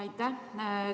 Aitäh!